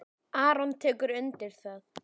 Aron tekur undir það.